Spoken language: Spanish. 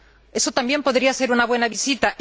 Eso también podría ser una Buena visita.